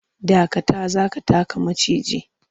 Dakata! za ka taka maciji.